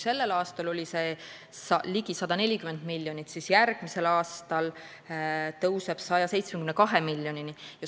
Sellel aastal on see ligi 140 miljonit, järgmisel aastal tõuseb 172 miljonile.